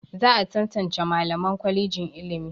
Za a tantance Mallaman kwalejin ilimi.